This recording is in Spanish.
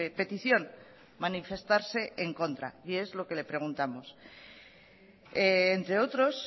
petición manifestarse en contra y es lo que le preguntamos entre otros